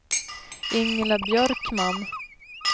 Ingela Björkman